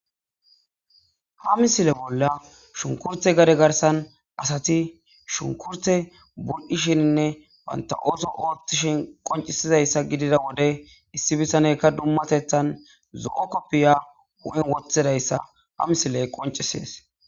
Ha misile bolla shunkurte gade garsan asati shunkurte burdishininne wanta'ooto oothtishin qoncisizayssa gidida wode issi bisanekka dummatethan zo'o koppiya hu'en wothidayssa ha misiley qoncisees.